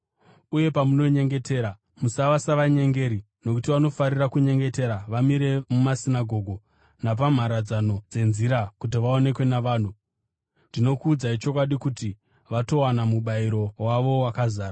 “Uye pamunonyengetera, musava savanyengeri nokuti vanofarira kunyengetera vamire mumasinagoge napamharadzano dzenzira kuti vaonekwe navanhu. Ndinokuudzai chokwadi kuti vatowana mubayiro wavo wakazara.